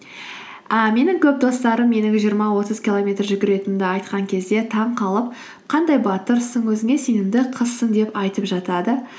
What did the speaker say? і менің көп достарым менің жиырма отыз километр жүгіретінімді айтқан кезде таңғалып қандай батырсың өзіңе сенімді қызсың деп айтып жатады